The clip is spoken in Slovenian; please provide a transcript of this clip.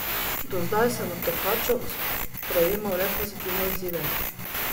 Do zdaj sem od tekačev prejemal le pozitivne odzive.